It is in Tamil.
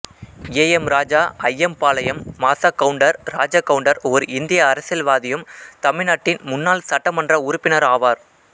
ஏ எம் ராஜா அய்யம்பாளையம் மாசாகவுண்டர் ராஜகவுண்டர் ஓர் இந்திய அரசியல்வாதியும் தமிழ்நாட்டின் முன்னாள் சட்டமன்ற உறுப்பினர் ஆவார்